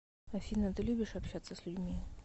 афина ты любишь общаться с людьми